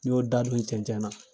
N y'o dabiri cɛncɛn na.